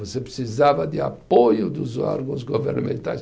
Você precisava de apoio dos órgãos governamentais.